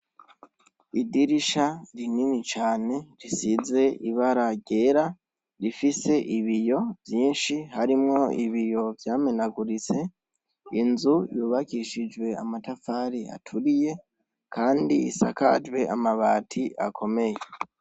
Idirisha rinini cane risize ibara ryera rifise ibiyo vyinshi harimwo ibiyo vyamenaguritse inzu yubakishijwe amatafari aturiye, kandi isakajwe amabati akomeye.